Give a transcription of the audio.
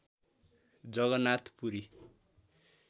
Jagannath Puri